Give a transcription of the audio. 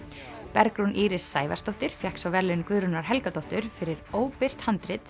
Bergrún Íris Sævarsdóttir fékk svo verðlaun Guðrúnar Helgadóttur fyrir óbirt handrit